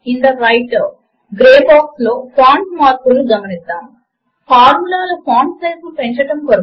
అలాగే writer grey box ఏరియాలో పైన మల్టిప్లికేషన్ చిహ్నము చేత విడగొట్టబడిన రెండు స్కేర్ లను గమనించండి